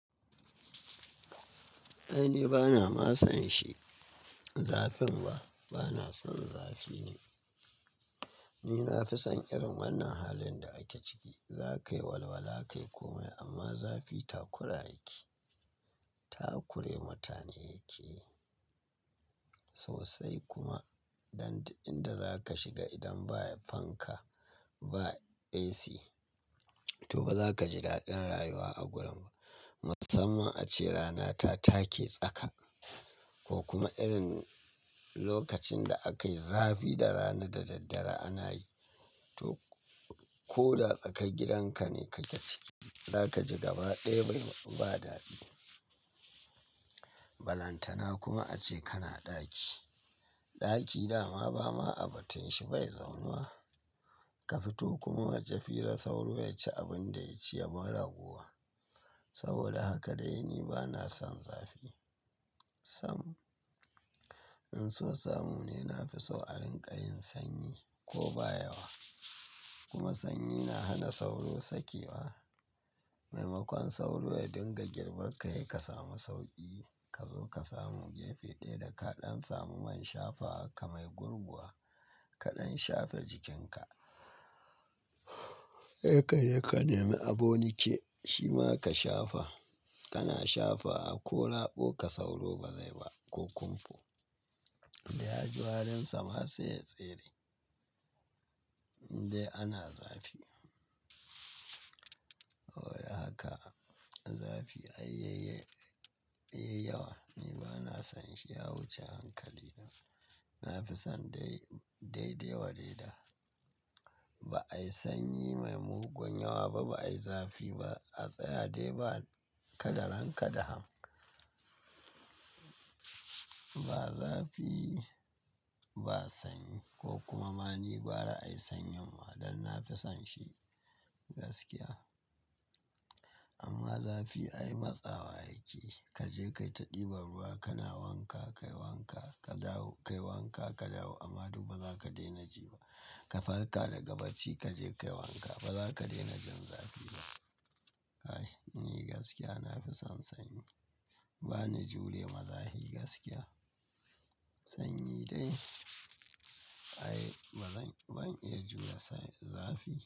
Ai ni bana masa shi, zafin ba, bana son zafi ne. Ni na fi son irin wannan halin da ake ciki. Za ka yi walwala, ka yi komai amma zafi takura yake. Takure mutane yake. Sosai kuma. Dan duk inda za ka shiga idan ba fanka ba AC to ba za ka ji daɗin rayuwa a gurin ba. Musamman a ce rana ta take tsaka. Ko kuma irin lokacin da aka yi zafi da rana da daddare ana yi. To, ko da tsakar gidan ka ne kake ciki, za ka ji gabaɗaya bai ba daɗi. Balantana kuma a ce kana ɗaki. Ɗaki da ma ba ma a batun shi bai zaunuwa. Ka fito kuma waje kila sauro ya ci abin da ya ci ya bar rago. Saboda haka dai ni bana son zafi. Sam, in so samu ne na fi so a rinƙayin sanyi ko ba yawa. Kuma sanyi na hana sauro sakewa. Maimakon sauro ya dinga girban ka, se ka samu sauƙi. Ka zo ka samu gefe ɗaya da kaɗan samu man shafawarka mai gurguwa. Kaɗan shafe jikinka. Sai ka je kane, mi aboniki shi ma ka shafa. Kana shafawa ko raboka sauro ba zai ba ko kumfo. Da ya ji warinsa ma sai ya tsere. Dai ana zafi. Wai a haka zafi ai yayi, yayi yawa. Ni bana son shi ya wuce hankali. Na fi son dai, daidai wa daida. Ba ai sanyi mai mugun yawa ba, ba ai zafi ba. A tsaya dai ba ka daren ka da ham. Ba zafi ba sanyi ko kuma ma ni gwara ai sanyin ma. Dan na fi son shi gaskiya. Amma zafi ai matsawa yake. Ka je ka ta ɗiban ruwa kana wanka, ka yi wanka, ka dawo, ka yi wanka ka dawo amma duk ba za ka daina ji ba. Ka farka daga bacci, ka je ka yi wanka ba za ka daina jin zafi ba. Ai ni gaskiya na fi son sanyi. Ba ni jure ma zafi gaskiya. Sanyi dai ai ba zan, ban iya jure sa zafi.